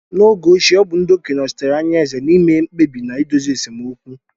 N'oge ochie, ọ bụ ndị okenye nochitere anya eze na-ime mkpebi na na-idozi esemokwu.